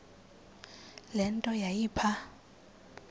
le nto yayipha